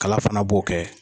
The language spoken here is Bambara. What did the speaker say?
Kala fana b'o kɛ.